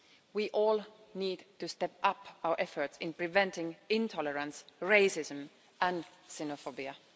We all need to step up our efforts in preventing intolerance, racism and xenophobia.